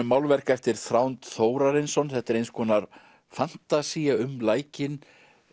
málverk eftir Þórarinsson þetta er eins konar fantasía um lækinn